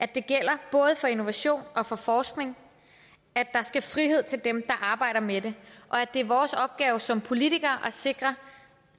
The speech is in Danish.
det gælder både for innovation og for forskning at der skal være frihed for dem der arbejder med det og at det er vores opgave som politikere at sikre